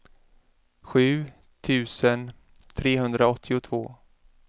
sju tusen trehundraåttiotvå